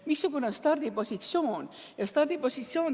Missugune on stardipositsioon?